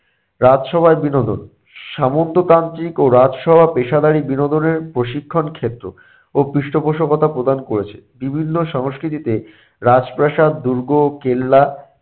রাজ সভায় বিনোদন - সামন্ততান্ত্রিক ও রাজসভা পেশাদারী বিনোদনের প্রশিক্ষন ক্ষেত্রে ও পৃষ্ঠপোষকতা প্রদান করেছে। বিভিন্ন সংস্কৃতিতে রাজপ্রাসাদ দুর্গ কেল্লা